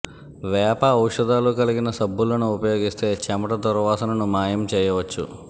వేప ఔషధాలు కలిగిన సబ్బులను ఉపయోగిస్తే చెమట దుర్వాసనను మాయం చేయవచ్చు